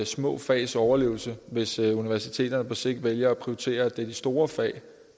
små fags overlevelse hvis universiteterne på sigt vælger at prioritere at det er de store fag